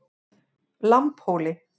Lambhóli